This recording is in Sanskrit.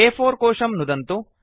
अ4 कोशं नुदन्तु